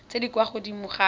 tse di kwa godimo ga